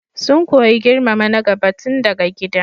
Sun koyi girmama na gaba tun daga gida.